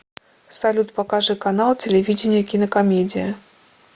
салют покажи канал телевидения кинокомедия